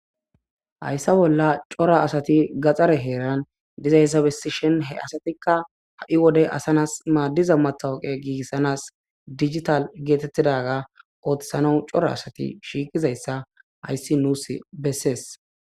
hayssa bolla cora asati gaxxare heeran dizayssa bessi shin he asatikka ha7i wode asanas maaddiza matawoqe giigissanas dijital geetettidaga oothsano cora asati shiiqizayssa hayssi nuus bessees